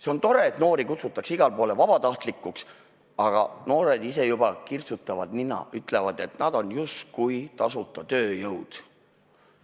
See on tore, et noori kutsutakse igale poole vabatahtlikuks, aga noored ise juba kirtsutavad nina, ütlevad, et nad on justkui tasuta tööjõud.